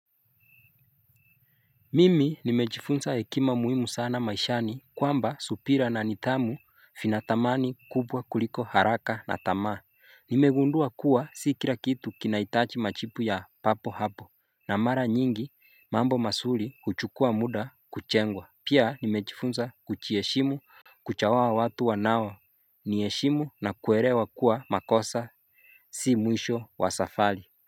Mimi nimejifunza hekima muhimu sana maishani, kwamba subira na nidhamu vina dhamani kubwa kuliko haraka na tamaa. Nimegundua kuwa si kila kitu kinahitaji majibu ya papo hapo. Na mara nyingi mambo mazuri huchukua muda kujengwa. Pia nimejifunza kujiheshimu kuchagua watu wanao niheshimu na kuelewa kuwa makosa si Si mwisho wa safari.